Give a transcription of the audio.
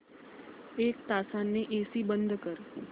एक तासाने एसी बंद कर